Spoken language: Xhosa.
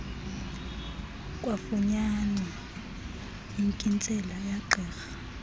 kwafunyanwa inkintsela yegqirha